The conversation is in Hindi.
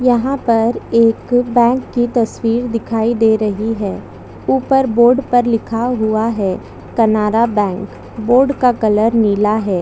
यहाँ पर एक बैंक की तस्वीर दिखाई दे रही है ऊपर बोर्ड पर लिखा हुआ है कनारा बैंक बोर्ड का कलर नीला है।